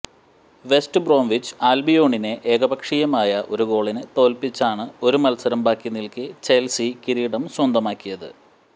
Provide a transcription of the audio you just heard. west Bromwich അൽബിയോണിനെ ഏകപക്ഷീയമായ ഒരു ഗോളിനു തോൽപ്പിച്ചാണ് ഒരു മത്സരം ബാക്കി നിൽക്കെ ചെൽസി കിരീടം സ്വന്തമാക്കിയത്